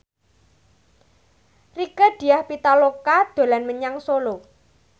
Rieke Diah Pitaloka dolan menyang Solo